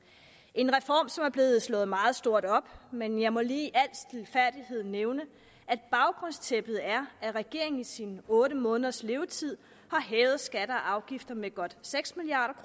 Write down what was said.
en reform som er blevet slået meget stort op men jeg må lige i al stilfærdighed nævne at baggrundstæppet er at regeringen i sin otte måneders levetid har hævet skatter og afgifter med godt seks milliard